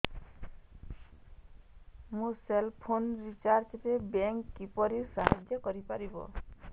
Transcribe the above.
ମୋ cell phone recharge ରେ bank କିପରି ସାହାଯ୍ୟ କରିପାରିବ